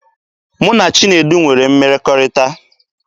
Mụ na Chinedu nwere mmekọrịta.